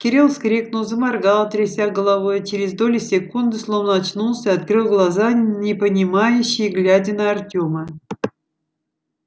кирилл вскрикнул заморгал тряся головой и через доли секунды словно очнулся и открыл глаза непонимающе глядя на артема